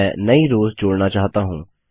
मैं नई रोव्स जोड़ना चाहता हूँ